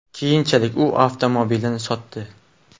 Keyinchalik u avtomobilini sotdi.